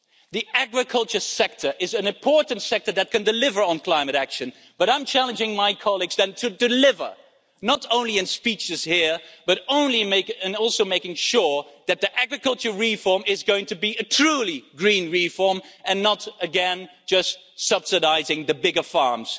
The agriculture sector is an important sector that can deliver on climate action, but I'm challenging my colleagues then to deliver, not only in speeches here but also in making sure that the agriculture reform is going to be a truly green reform and not again just subsidising the bigger farms.